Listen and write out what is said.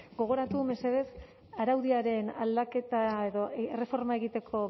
gogoratu mesedez araudiaren aldaketa edo erreforma egiteko